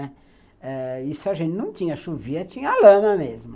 Eh, isso a gente não tinha chovia, tinha lama mesmo.